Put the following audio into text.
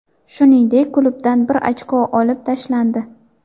Shuningdek, klubdan bir ochko olib tashlandi.